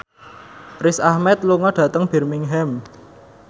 Riz Ahmed lunga dhateng Birmingham